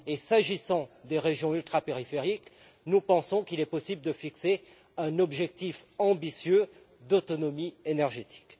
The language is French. S'agissant des régions ultrapériphériques, nous pensons qu'il est possible de fixer un objectif ambitieux d'autonomie énergétique.